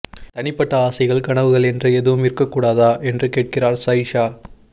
தனிப்பட்ட ஆசைகள் கனவுகள் என்று எதுவும் இருக்கக் கூடாதா என்று கேட்கிறார் சயிஷா